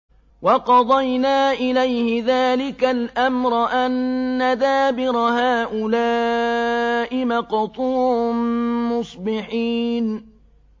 وَقَضَيْنَا إِلَيْهِ ذَٰلِكَ الْأَمْرَ أَنَّ دَابِرَ هَٰؤُلَاءِ مَقْطُوعٌ مُّصْبِحِينَ